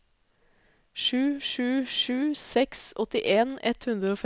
sju sju sju seks åttien ett hundre og femten